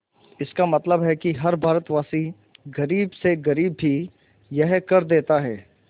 इसका मतलब है कि हर भारतवासी गरीब से गरीब भी यह कर देता है